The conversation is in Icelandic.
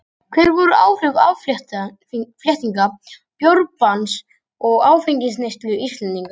hver voru áhrif afléttingar bjórbanns á áfengisneyslu íslendinga